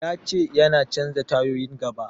Ya ce yana canja tayoyin gaba.